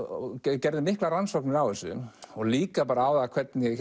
gerði miklar rannsóknir á þessu og líka bara hvernig